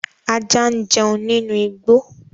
Ajá ń jẹun nínú igbó